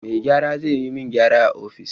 Mai gyara zai yi min gyaran a ofis.